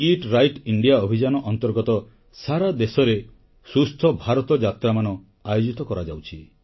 EAT right India ଅଭିଯାନ ଅନ୍ତର୍ଗତ ସାରା ଦେଶରେ ସୁସ୍ଥ ଭାରତ ଯାତ୍ରାମାନ ଆୟୋଜିତ କରାଯାଉଛି